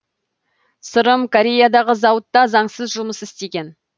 сырым кореядағы зауытта заңсыз жұмыс істеген